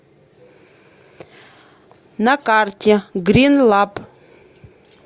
на карте грин лаб